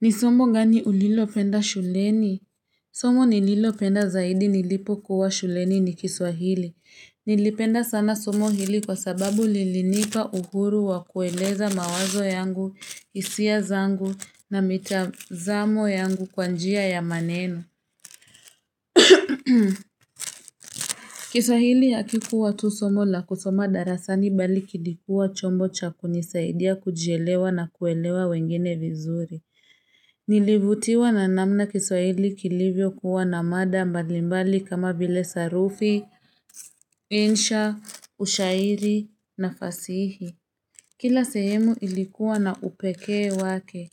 Ni somo gani ulilopenda shuleni? Somo nililopenda zaidi nilipokuwa shuleni ni kiswahili. Nilipenda sana somo hili kwa sababu lilinipa uhuru wa kueleza mawazo yangu, hisia zangu na mitazamo yangu kwa njia ya maneno. Kiswahili hakikuwa tu somo la kusoma darasani bali kilikua chombo cha kunisaidia kujielewa na kuelewa wengine vizuri. Nilivutiwa na namna kiswahili kilivyokuwa na mada mbalimbali kama vile sarufi, insha, ushairi na fasihi Kila sehemu ilikuwa na upekee wake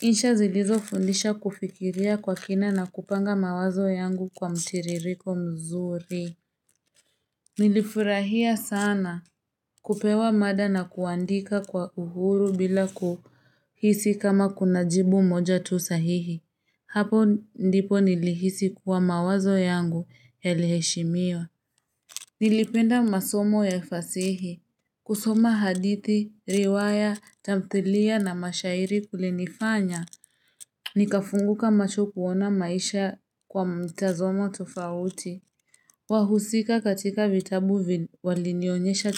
Insha zilizo fundisha kufikiria kwa kina na kupanga mawazo yangu kwa mtiririko mzuri Nilifurahia sana kupewa mada na kuandika kwa uhuru bila kuhisi kama kuna jibu moja tu sahihi Hapo ndipo nilihisi kuwa mawazo yangu yaliheshimiwa. Nilipenda masomo ya fasihi. Kusoma hadithi, riwaya, tamthilia na mashairi kulinifanya. Nikafunguka macho kuona maisha kwa mtazamo tofauti. Wahusika katika vitabu walinionyesha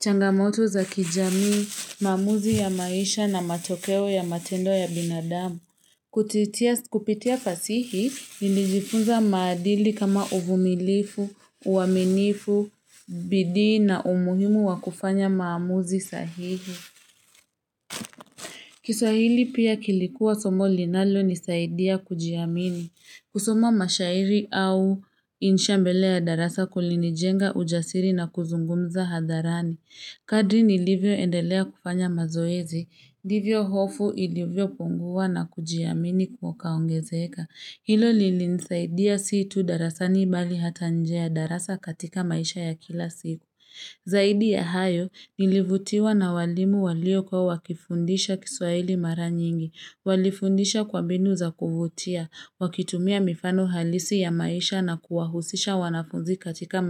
changamoto za kijamii. Maamuzi ya maisha na matokeo ya matendo ya binadamu. Kupitia fasihi, nilijifunza maadili kama uvumilifu, uaminifu, bidii na umuhimu wa kufanya maamuzi sahihi. Kiswahili pia kilikuwa somo linalonisaidia kujiamini. Kusoma mashairi au insha mbele ya darasa kulinijenga ujasiri na kuzungumza hadharani. Kadri nilivyoendelea kufanya mazoezi, ndivyo hofu ilivyo punguwa na kujiamini kukaongezeka. Hilo lilinisaidia si tu darasani bali hata nje ya darasa katika maisha ya kila siju. Zaidi ya hayo, nilivutiwa na walimu waliikuwa wakifundisha kiswahili mara nyingi. Walifundisha kwabinu za kuvutia, wakitumia mifano halisi ya maisha na kuwahusisha wanafunzi katika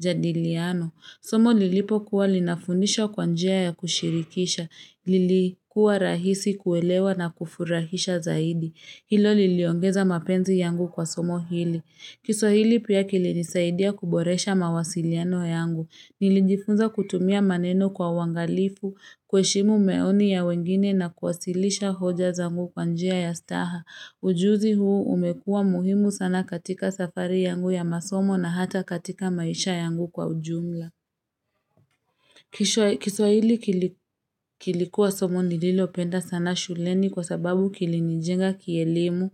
majadiliano. Somo lilipokuwa linafundisha kwa njia ya kushirikisha, lilikuwa rahisi kuelewa na kufurahisha zaidi. Hilo liliongeza mapenzi yangu kwa somo hili. Kiswahili pia kilinisaidia kuboresha mawasiliano yangu. Nilijifunza kutumia maneno kwa uwangalifu, kuheshimu maoni ya wengine na kuwasilisha hoja zangu kwa njia ya staha. Ujuzi huu umekua muhimu sana katika safari yangu ya masomo na hata katika maisha yangu kwa ujumla. Kiswahili kilikuwa somo nililopenda sana shuleni kwa sababu kilinijenga kielimu,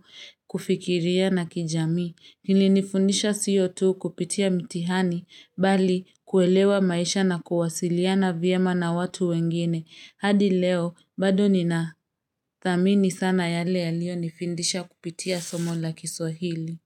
kufikiria na kijamii. Nilinifundisha sio tu kupitia mtihani, bali kuelewa maisha na kuwasiliana vyema na watu wengine. Hadi leo, bado ninathamini sana yale yaliyonifindisha kupitia somo la kiswahili.